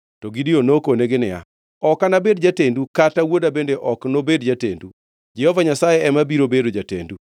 To Gideon nokonegi niya, “Ok anabed jatendu, kata wuoda bende ok nobed jatendu. Jehova Nyasaye ema biro bedo jatendu.”